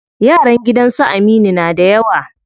Yaran gidan su Aminu na da yawa.